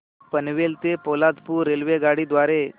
पनवेल ते पोलादपूर रेल्वेगाडी द्वारे